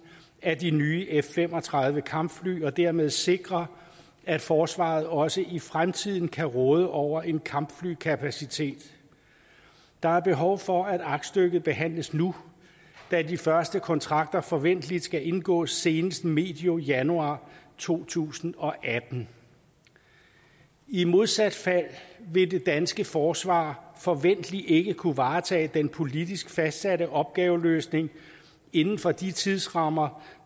af de nye f fem og tredive kampfly og dermed sikre at forsvaret også i fremtiden kan råde over en kampflykapacitet der er behov for at aktstykket behandles nu da de første kontrakter forventelig skal indgås senest medio januar to tusind og atten i modsat fald vil det danske forsvar forventelig ikke kunne varetage den politisk fastsatte opgaveløsning inden for de tidsrammer